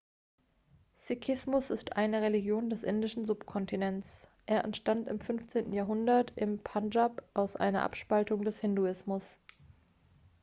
sikhismus ist eine religion des indischen subkontinents er entstand im 15. jahrhundert im pandschab aus einer abspaltung des hinduismus